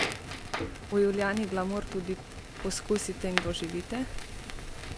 V Julijani glamur tudi pokusite in doživite!